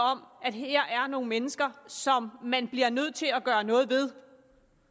om at her er nogle mennesker som man bliver nødt til at gøre noget ved